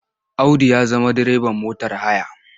Audu ya zama direban motar haya.